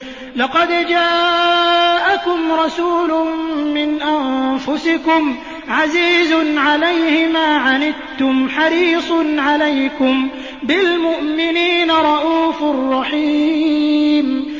لَقَدْ جَاءَكُمْ رَسُولٌ مِّنْ أَنفُسِكُمْ عَزِيزٌ عَلَيْهِ مَا عَنِتُّمْ حَرِيصٌ عَلَيْكُم بِالْمُؤْمِنِينَ رَءُوفٌ رَّحِيمٌ